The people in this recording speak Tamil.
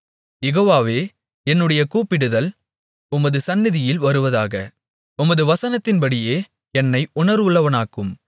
யெகோவாவே என்னுடைய கூப்பிடுதல் உமது சந்நிதியில் வருவதாக உமது வசனத்தின்படியே என்னை உணர்வுள்ளவனாக்கும்